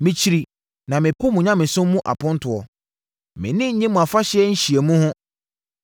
“Mekyiri na mepo mo nyamesom mu apontoɔ; mʼani nnye mo afahyɛ nhyiamu ho.